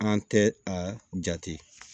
An tɛ a jate